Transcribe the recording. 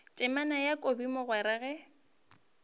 temana ya kobi mogwera ge